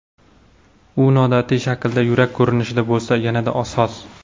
U noodatiy shaklda yurak ko‘rinishida bo‘lsa, yanada soz!